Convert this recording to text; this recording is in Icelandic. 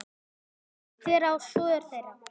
Hvernig lýst þér á svör þeirra?